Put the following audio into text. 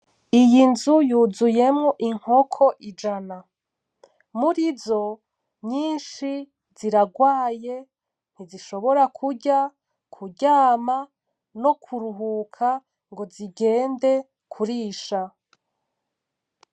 Iyi nzu yuzuyemwo inkoko ijana. Murizo, nyinshi ziragwaye ntizishobora kurya, kuryama no kuruhuka ngo zigende kurisha.